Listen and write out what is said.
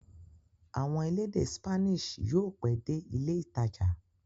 Àwọn elédè Spanish yóò pẹ́ dé ilé-ìtajà.